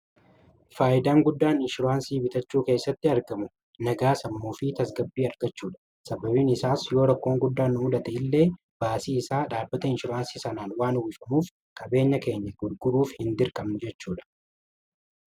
Faayidaan guddaan inshurwaansii bitachuu keessatti argamu nagaa sammuu fi tasgabbii argachuudha sababiin isaas yoo rakkoon guddaannu numadate illee baasii isaa dhaabbata inshuraansii sanaan waan uwifamuuf qabeenya keenya gurguruuf hin dirqamnu jechuudha.